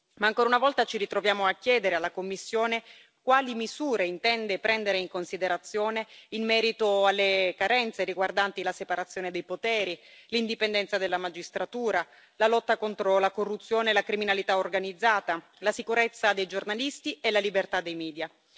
Ma ancora una volta ci ritroviamo a chiedere alla Commissione quali misure intende prendere in considerazione in merito alle carenze riguardanti la separazione dei poteri, l'indipendenza della Magistratura, la lotta contro la corruzione e la criminalità organizzata, la sicurezza dei giornalisti e la libertà dei media.